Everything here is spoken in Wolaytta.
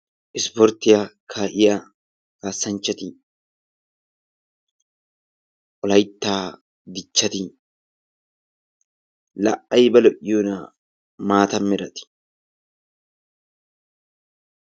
Ispporttiya kaa'iya kaassanchchati, Wolaytta dichchati laa ayba lo'iyonaa, maata merati!